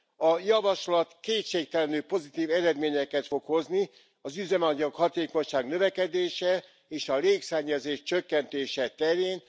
A javaslat kétségtelenül pozitív eredményeket fog hozni az üzemanyag hatékonyság növekedése, és a légszennyezés csökkentése terén.